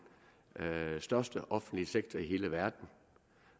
største offentlige sektor i hele verden